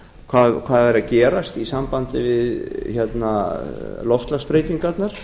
hvað er að gerast í sambandi við loftslagsbreytingarnar